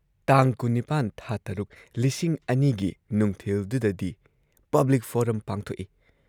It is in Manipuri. ꯇꯥꯡ ꯲꯸।꯶।꯲꯰꯰꯰ ꯒꯤ ꯅꯨꯡꯊꯤꯜꯗꯨꯗꯗꯤ ꯄꯕ꯭ꯂꯤꯛ ꯐꯣꯔꯝ ꯄꯥꯡꯊꯣꯛꯏ ꯫